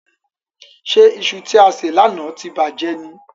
Ṣé iṣu tí e sè lánàá ti bàjẹ́ ni?